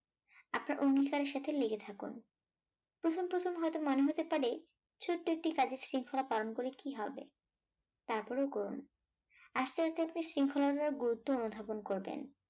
আপনার অঙ্গীকারের সাথে লেগে থাকুন প্রথম প্রথম হয়তো মনে হতে পারে ছোট্ট একটি কাজে শৃঙ্খলা পালন করে কি হবে? তারপরেও করুন। আস্তে আস্তে আস্তে শৃঙ্খলা টার গুরুত্ব উপধাবন করবেন